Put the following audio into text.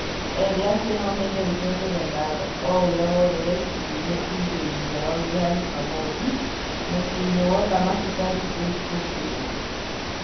Erĩ acio no-mende gũcokeria ngatho o-ũrĩa wothe wekinyirie irugainĩ rĩao rĩa Jumamothi, mũciinĩ wo-thamaki Karitos gũkĩrwo.